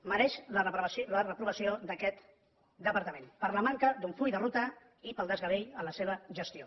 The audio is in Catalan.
mereix la reprovació aquest departament per la manca d’un full de ruta i pel desgavell en la seva gestió